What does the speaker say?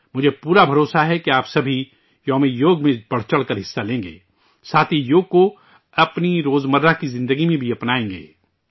مجھے پورا یقین ہے کہ آپ سبھی 'یوگ دیوس' میں بڑھ چڑھ کر حصہ لیں گے، ساتھ ہی یوگ کو اپنی روز مرہ کی زندگی میں بھی اپنائیں گے